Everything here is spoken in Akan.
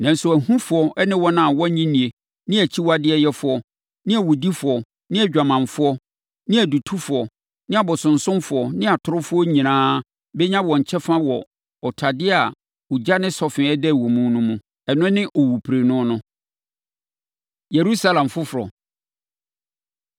Nanso, ahufoɔ ne wɔn a wɔnnye nni ne akyiwadeyɛfoɔ ne awudifoɔ ne adwamanfoɔ ne adutofoɔ ne abosonsomfoɔ ne atorofoɔ nyinaa bɛnya wɔn kyɛfa wɔ ɔtadeɛ a ogya ne sɔfe dɛre wɔ mu no. Ɛno ne owuprenu no.” Yerusalem Foforɔ No